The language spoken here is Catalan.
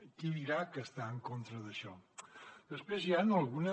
qui dirà que està en contra d’això després hi han algunes